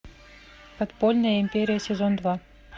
подпольная империя сезон два